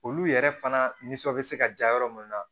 Olu yɛrɛ fana nisɔn bɛ se ka ja yɔrɔ minnu na